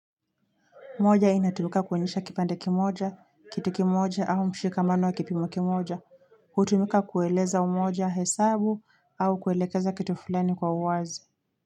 Moja inatumika kuonyesha kipande kimoja, kitu kimoja au mshikamano wa kipimo kimoja. Hutumika kueleza umoja hesabu au kuelekeza kitu fulani kwa uwazi.